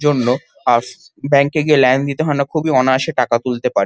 জন্য আর ব্যাঙ্ক এ গিয়ে লাইন দিতে হয়না খুবই অনায়াসে টাকা তুলতে পারে।